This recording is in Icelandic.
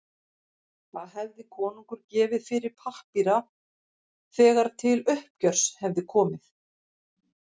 Hvað hefði konungur gefið fyrir þá pappíra þegar til uppgjörs hefði komið?